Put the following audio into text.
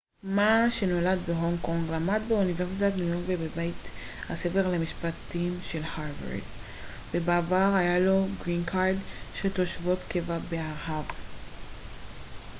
מא שנולד בהונג קונג למד באוניברסיטת ניו יורק ובבית הספר למשפטים של הרווארד ובעבר היה לו גרין קארד של תושבות קבע בארה ב